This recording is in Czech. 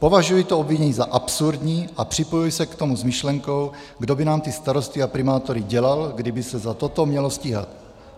Považuji to obvinění za absurdní a připojuji se k tomu s myšlenkou, kdo by nám ty starosty a primátory dělal, kdyby se za toto mělo stíhat.